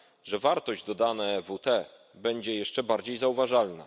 że wartość dodana EWT będzie jeszcze bardziej zauważalna.